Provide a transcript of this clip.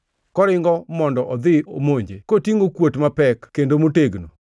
koringo mondo odhi omonje kotingʼo kuot mapek kendo motegno.